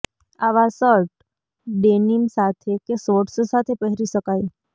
આવાં shirt denim સાથે કે શોર્ટ્સ સાથે પહેરી શકાય